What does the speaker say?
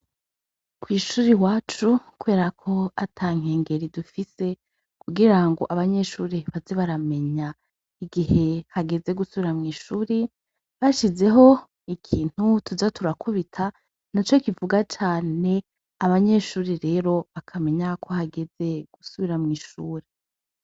Kw'ishuri iwacu kubera ko atankengeri dufise kugirango abanyeshuri baze baramenya igihe hageze gusubira mw'ishuri ,bashizeho ikintu tuza turakubita naco kivuga cane abanyeshure rero bakamenya ko hageze gusubira mw'ishure.